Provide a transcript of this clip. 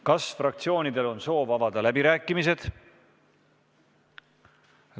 Kas fraktsioonidel on soov avada läbirääkimised?